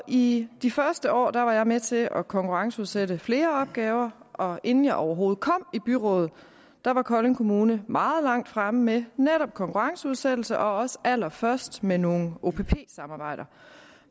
i de første år var jeg med til at konkurrenceudsætte flere opgaver og inden jeg overhovedet kom i byrådet var kolding kommune meget langt fremme med netop konkurrenceudsættelse og også allerførst med nogle opp samarbejder